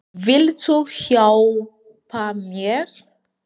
Viltu hjálpa mér?